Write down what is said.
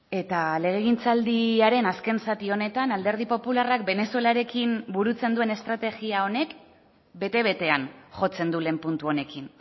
eta legegintzaldiaren azken zati honetan alderdi popularrak venezuelarekin burutzen duen estrategia honek bete betean jotzen du lehen puntu honekin